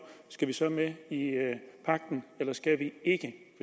skal vi så med i pagten eller skal vi ikke